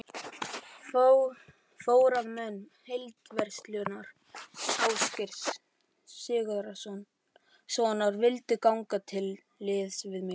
Forráðamenn Heildverslunar Ásgeirs Sigurðssonar vildu ganga til liðs við mig.